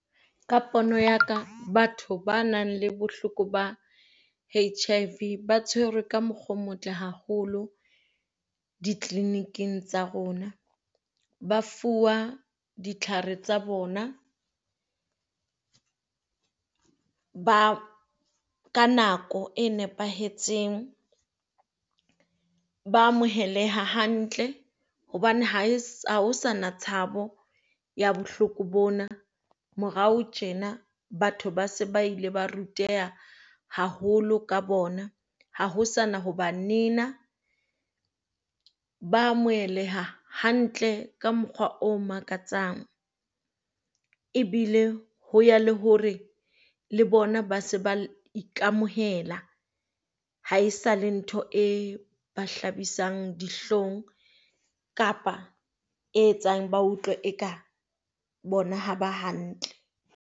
Ka pono ya ka, batho ba nang le bohloko ba HIV ba tshwerwe ka mokgwa o motle haholo di-clinic-ng tsa rona. Ba fuwa ditlhare tsa bona ba ka nako e nepahetseng. Ba amoheleha hantle hobane ha se na tshabo ya bohloko bona. Morao tjena batho ba se ba ile ba ruteha haholo ka bona. Ha ho sana ho ba nena. Ba amoheleha hantle ka mokgwa o makatsang, e bile ho ya le hore le bona ba se ba ikamohela. Haesale ntho e ba hlabisang dihlong kapa e etsang ba utlwe eka bona ha ba hantle.